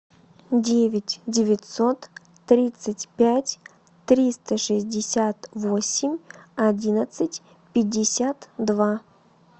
девять девятьсот тридцать пять триста шестьдесят восемь одиннадцать пятьдесят два